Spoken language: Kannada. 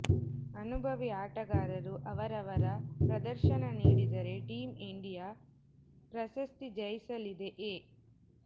ಅನುಭವಿ ಆಟಗಾರರು ಅವರವರ ಪ್ರದರ್ಶನ ನೀಡಿದರೆ ಟೀಮ್ ಇಂಡಿಯಾ ಪ್ರಶಸ್ತಿ ಜಯಿಸಲಿದೆ ಎ